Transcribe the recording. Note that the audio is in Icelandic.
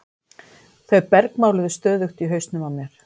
Þau bergmáluðu stöðugt í hausnum á mér.